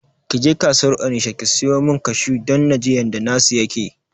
Kije kasuwar onisha ki siyo min kashu don naji yanda na su yake